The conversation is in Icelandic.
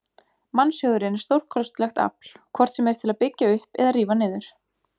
Mannshugurinn er stórkostlegt afl, hvort sem er til að byggja upp eða rífa niður.